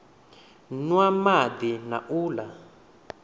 nwa madi na u la